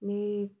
Ni